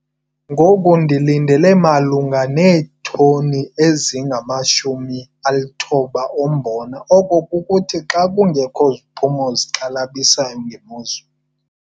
Ngoku ndilindele malunga neetoni eziyi-90 zombona - oko kukuthi xa kungekho ziphumo zixhalabisayo ngemozulu.